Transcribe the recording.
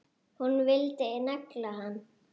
Hún vildi negla hann!